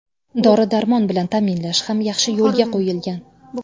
Dori-darmon bilan ta’minlash ham yaxshi yo‘lga qo‘yilgan.